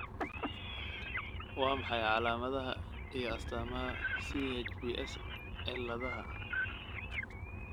Waa maxay calaamadaha iyo astaamaha CHPS Ciladaha?